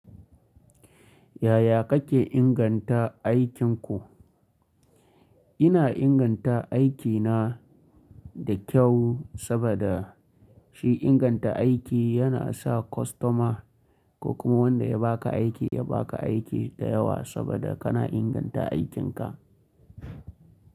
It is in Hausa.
Yaya kake inganta aikinku? Ina inganta aikina da kyau saboda shi inganta aiki yana sa kwastoma ko kuma wanda ya baka aiki ya baka aiki da yawa saboda kana inganta aikinka.